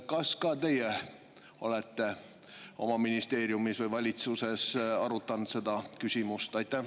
Kas ka teie olete oma ministeeriumis või valitsuses arutanud seda küsimust?